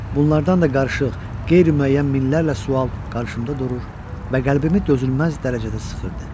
Bunlardan da qarışıq, qeyri-müəyyən minlərlə sual qarşımda durur və qəlbimi dözülməz dərəcədə sıxırdı.